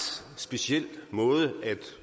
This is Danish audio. speciel måde at